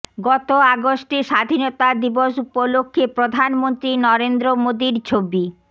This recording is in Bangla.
গত আগস্টে স্বাধীনতা দিবস উপলক্ষে প্রধানমন্ত্রী নরেন্দ্র মোদীর ছবি